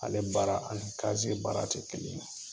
Ale baara ani kaze baara tɛ kelen ye.